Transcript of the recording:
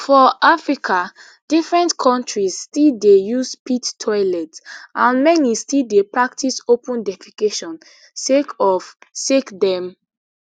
for africa different kontris still dey use pit toilet and many still dey practice open defecation sake of sake dem